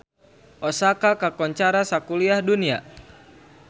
Osaka kakoncara sakuliah dunya